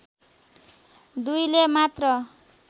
दुईले मात्र